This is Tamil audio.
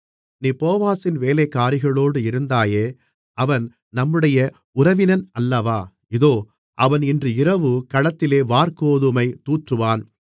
நீ போவாசின் வேலைக்காரிகளோடு இருந்தாயே அவன் நம்முடைய உறவினன் அல்லவா இதோ அவன் இன்று இரவு களத்திலே வாற்கோதுமை தூற்றுவான்